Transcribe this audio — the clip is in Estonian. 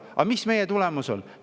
Aga mis meil toimub?